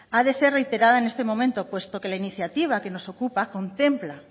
ha de ser reiterada en este momento puesto que la iniciativa que nos ocupa contempla